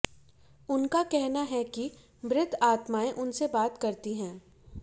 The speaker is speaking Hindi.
उनका कहना है कि मृत आत्माएं उनसे बात करती हैं